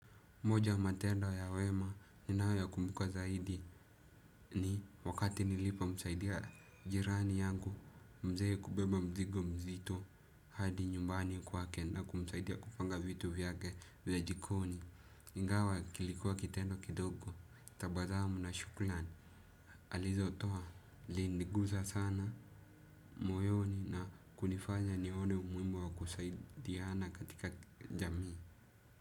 Moja ya matendo ya wema ninayo yakumbuka zaidi ni wakati nilipomsaidia jirani yangu mzee kubeba mzigo mzito hadi nyumbani kwake na kuenda kumsaidia kupanga vitu vyake mzee jikoni. Ingawa kilikuwa kitendo kidogo tabasamu na shukrani alizotoa linigusa sana moyoni na kunifanya nione umuhimu wa kusaidiana katika jamii.